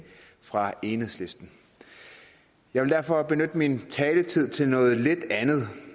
fra enhedslisten jeg vil derfor benytte min taletid til noget lidt andet